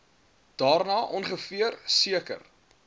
daarna ongeveer seker